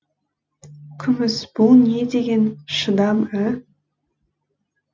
күміс бұл не деген шыдам ә